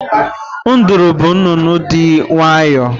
Nduru bụ nnụnụ dị nwayọọ.